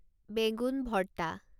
বেগুন ভর্তা